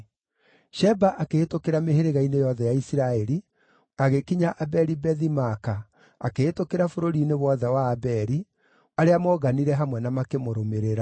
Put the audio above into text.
Sheba akĩhĩtũkĩra mĩhĩrĩga-inĩ yothe ya Isiraeli, agĩkinya Abeli-Bethi-Maaka, akĩhĩtũkĩra bũrũri-inĩ wothe wa Aberi, arĩa moonganire hamwe na makĩmũrũmĩrĩra.